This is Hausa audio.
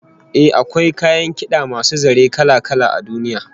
Eh, akwai kayan kid'a masu zare kala-kala a duniya